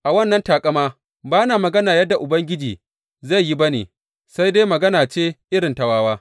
A wannan taƙamata ba na magana yadda Ubangiji zai yi ba ne, sai dai magana ce irin ta wawa.